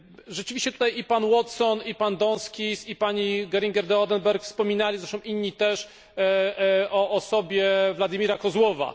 Rzeczywiście tutaj i pan Watson, i pan Donskis, i pani Geringer de Oedenberg wspominali, zresztą inni też, o osobie Władimira Kozłowa.